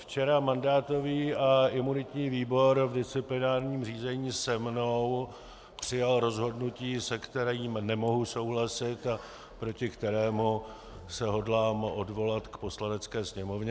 Včera mandátový a imunitní výbor v disciplinárním řízení se mnou přijal rozhodnutí, se kterým nemohu souhlasit a proti kterému se hodlám odvolat k Poslanecké sněmovně.